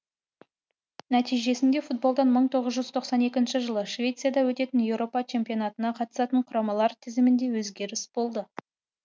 нәтижесінде футболдан мың тоғыз жүз тоқсан екі жылы швецияда өтетін еуропа чемпионатына қатысатын құрамалар тізімінде өзгеріс болды